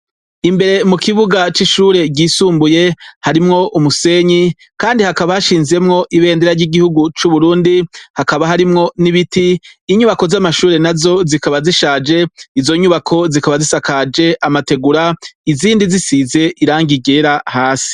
Imbere mu kibuga c'ishure ry'isumbuye, hakaba hashinzemwo ibendera ry'igihugu cub'Uburundi, hakaba harimwo n'ibiti, inyubako z'amashure nazo zikaba zishaje, izo nyubako zikaba zisakaje amategura izindi zisize irangi ryera hasi.